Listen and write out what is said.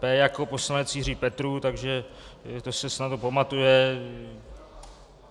P jako poslanec Jiří Petrů, takže to se snadno pamatuje.